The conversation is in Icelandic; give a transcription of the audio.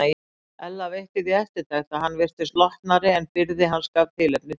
Ella veitti því eftirtekt að hann virtist lotnari en byrði hans gaf tilefni til.